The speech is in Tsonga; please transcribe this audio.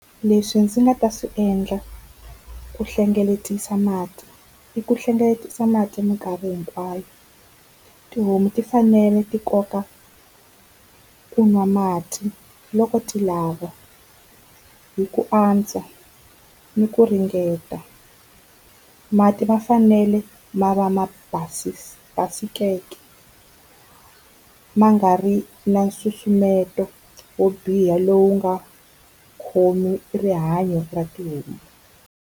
Leswi ndzi nga ta swi endla ku hlengeletisa mati i ku hlengeletisa mati mikarhi hinkwayo. Tihomu ti fanele ti kota ku nwa mati loko ti lava hi ku antswa ni ku ringeta. Mati ma fanele ma va ma basikeke ma nga ri na nsusumeto wo biha lowu nga khomi rihanyo ra tihomu.